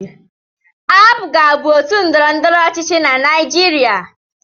APGA bụ otu ndọrọndọrọ ọchịchị na Naịjirịa.